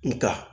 Nga